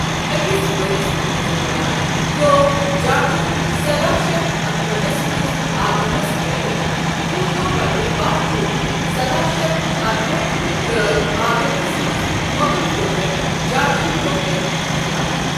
اكِس بڈِس حملس دوران، ترٚأو جاٹو سداہ شیتھ اکہأٹھس منز آگراہس گیرٕ وُہ دوہہِ پتہٕ باہ جون سداہ شیتھ اکٕہأٹھ تر٘ٲوِ آگرہس منز مو٘غل فوجن جاٹن بر٘ونہہ كٕنہِ ہتھیار۔